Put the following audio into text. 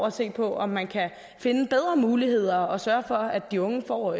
at se på om man kan finde bedre muligheder og sørge for at de unge får